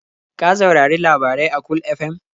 Ka saurari labarai a Cool FM?